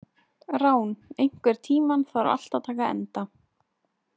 Rán, einhvern tímann þarf allt að taka enda.